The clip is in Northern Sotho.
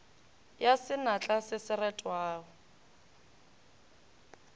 ya senatla se se retwago